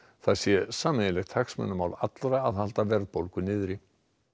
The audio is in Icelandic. það sé sameiginlegt hagsmunamál allra að halda verðbólgu niðri